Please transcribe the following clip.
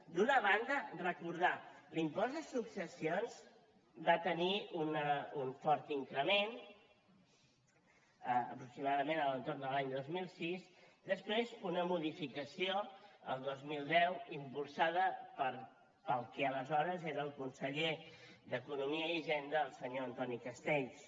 d’una banda recordar ho l’impost de successions va tenir un fort increment aproximadament a l’entorn de l’any dos mil sis després una modificació el dos mil deu impulsada pel que aleshores era el conseller d’economia i hisenda el senyor antoni castells